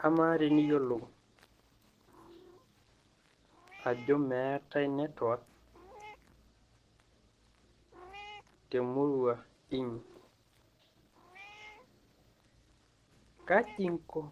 kamaa eniiyiolo ajoo meetaii network temurua inyi, kajii inko